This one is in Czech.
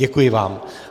Děkuji vám.